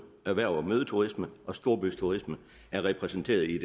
erhverv og mødeturisme og storbyturisme er repræsenteret i